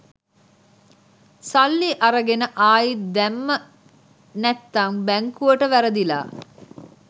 සල්ලි අරගෙන ආයිත් දැම්ම නැත්තං බැංකුවට වැරදිලා